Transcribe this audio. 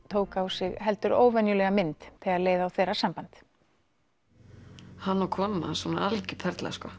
tók á sig heldur óvenjulega mynd þegar leið á þeirra samband hann og konan hans hún er algjör perla sko